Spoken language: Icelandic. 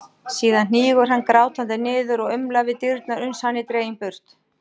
Síðan hnígur hann grátandi niður og umlar við dyrnar uns hann er dreginn burt.